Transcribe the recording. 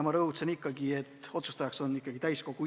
Ma rõhutasin, et otsustajaks on ikkagi täiskogu.